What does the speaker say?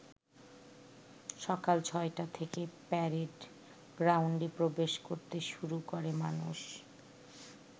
সকাল ছয়টা থেকে প্যারেড গ্রাউন্ডে প্রবেশ করতে শুরু করে মানুষ।